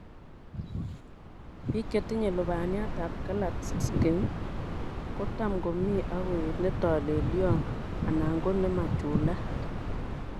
Biik chetinye lubaniatab Klatskin kotam komi ak koet netolelion anan ko nemachulat.